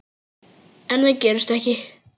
En það gerist ekki.